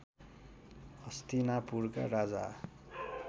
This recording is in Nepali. हस्तिनापुरका राजा